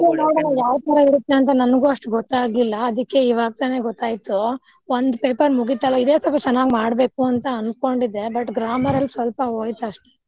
ಅದೆ ನೋಡೋಣ ಯಾವ್ ತರಾ ಇರುತ್ತೆ ಅಂತಾ ನನಗು ಅಷ್ಟು ಗೊತ್ತಾಗ್ಲಿಲ್ಲಾ ಅದಕ್ಕೆ ಇವಾಗ ತಾನೆ ಗೊತ್ತಾಯ್ತು ಒಂದ್ paper ಮುಗಿತಲಾ ಇದೆ ಸ್ವಲ್ಪ ಚೆನ್ನಾಗಿ ಮಾಡ್ಬೇಕು ಅಂತಾ ಅನ್ಕೊಂಡಿದ್ದೆ but grammar ಲ್ಲಿ ಸ್ವಲ್ಪ ಹೋಯ್ತ ಅಷ್ಟೆ.